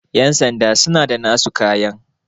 yansanda suna da nasu kayan